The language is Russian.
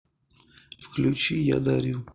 включи я дарю